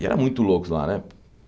E era muito louco lá, né?